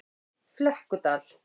Flekkudal